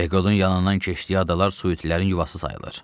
Peqodun yanından keçdiyi adalar suitilərin yuvası sayılır.